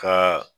Ka